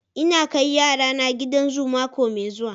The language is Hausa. Ina kai yarana gidan zu mako mai zuwa.